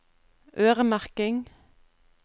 øremerking